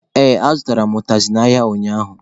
Ee, azụtara m ụtazị n'ahịa ụnyaahụ.